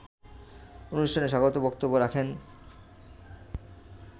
অনুষ্ঠানে স্বাগত বক্তব্য রাখেন